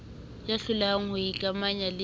ya hlolehang ho ikamanya le